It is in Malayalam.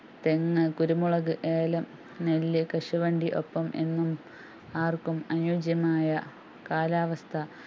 തെങ്ങ് കുരുമുളക് ഏലം നെല്ല് കശുവണ്ടി ഒപ്പം എന്നും ആര്‍ക്കും അനുയോജ്യമായ കാലാവസ്ഥ